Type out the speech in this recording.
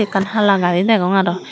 ekkan hala gari degong aro.